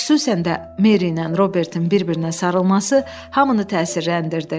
Xüsusən də Meri ilə Robertin bir-birinə sarılması hamını təsirləndirdi.